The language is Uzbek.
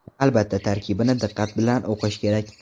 Albatta, tarkibini diqqat bilan o‘qish kerak.